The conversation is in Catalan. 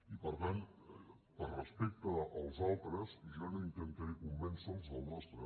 i per tant per respecte als altres jo no intentaré convèncer los del nostre